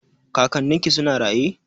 Kakannin ki suna raye?